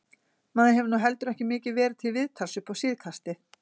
Maður hefur nú heldur ekki mikið verið til viðtals upp á síðkastið.